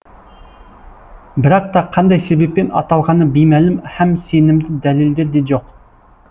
бірақ та қандай себеппен аталғаны беймәлім һәм сенімді дәлелдер де жоқ